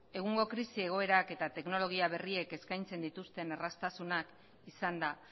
egungo krisi egoerak eta teknologia berriek eskaintzen dituzten erraztasunak izanda